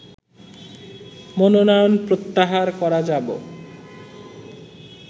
মনোনয়ন প্রত্যাহার করা যাব